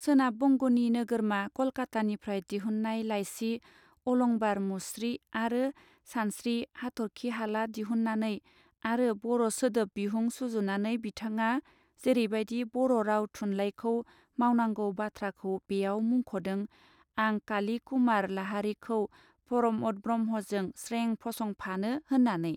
सोनाब बंगनि नोगोरमा कलकातानिफ्राय दिहुननाय लाइसि अलंबार मुसिरि आरो सानसिरि हाथरखि हाला दिहुननानै आरो बर सोदोब बिहुं सुजुनानै बिथाङा जेरैबादि बर राव थुनलाइखौ मवानांग बाथ्राखौ बेयाव मुंखदों आं कालि कुमार लहारीकवो प्रम द ब्रह्माजवांग स्रें फसंफानो होननानै.